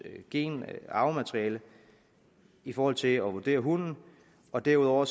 arvemateriale i forhold til at vurdere hunden og derudover